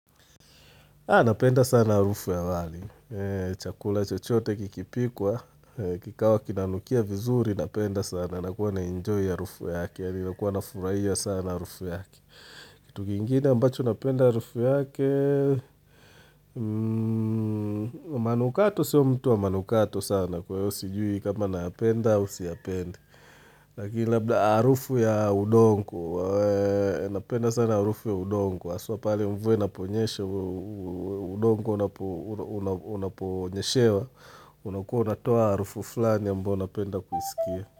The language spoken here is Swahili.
Napenda sana harufu ya wali. Chakula chochote kikipikwa, kikawa kinanukia vizuri napenda sana. Nakuwa naenjoy harufu yake. Nakuwa nafurahia sana harufu yake. Kitu kingine ambacho napenda harufu yake, manukato, sio mtu wa manukato sana. Kwa hiyo sijui kama napenda, au siyapendi. Lakini labda harufu ya udongo, napenda sana harufu ya udongo, haswa pale mvua inaponyesha, udongo unaponyeshewa, unakouwa unatoa harufu fulani ambayo napenda kuisikia.